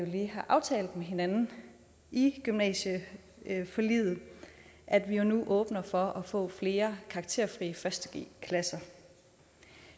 lige har aftalt med hinanden i gymnasieforliget at vi nu åbner for at få flere karakterfri første g klasser